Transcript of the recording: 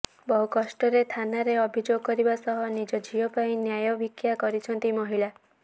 ବହୁ କଷ୍ଟରେ ଥାନାରେ ଅଭିଯୋଗ କରିବା ସହ ନିଜ ଝିଅ ପାଇଁ ନ୍ୟାୟ ଭିକ୍ଷା କରିଛନ୍ତି ମହିଳା